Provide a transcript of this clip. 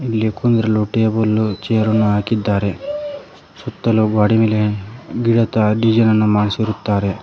ಇಲ್ಲಿ ಕುಂದ್ರಲು table chair ರನ್ನು ಹಾಕಿದ್ದಾರೆ ಸುತ್ತಲು ಗೋಡೆ ಮೇಲೆ ಗಿಡತರ ಡಿಸೈನ್ ಅನ್ನು ಮಾಡಿಸುತ್ತಾರೆ.